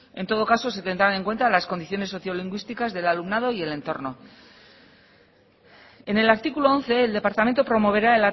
en todo caso se tendrán en cuenta las condiciones socio lingüísticas del alumnado y del entorno en el artículo once el departamento promoverá